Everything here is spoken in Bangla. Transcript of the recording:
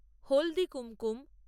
হলদি কুমকুম